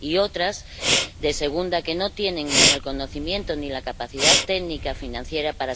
y otras, de segunda, no tienen ni el conocimiento ni la capacidad técnica financiera para